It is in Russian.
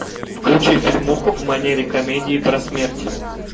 включи фильмуху в манере комедии про смерть